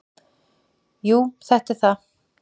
"""Jú, þetta er það."""